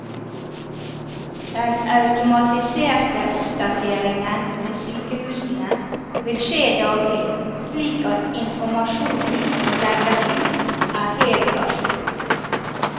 Den automatiserte oppdateringen ved sykehusene vil skje daglig, slik at informasjonen som legges ut er helt a jour.